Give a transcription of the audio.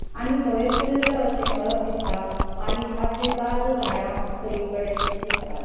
आणि दवे फुल्ल अशे मळभ दिसता आणि पाचवी चार झाडा सगळीकडे दिसतात.